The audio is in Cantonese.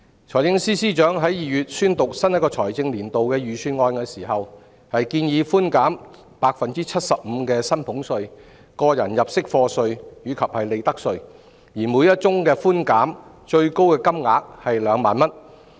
財政司司長在2月宣讀新一個財政年度的預算案時，建議寬減 75% 的薪俸稅、個人入息課稅及利得稅，而每宗寬減的最高金額為2萬元。